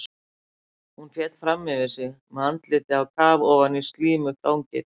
Hún féll fram yfir sig með andlitið á kaf ofan í slímugt þangið.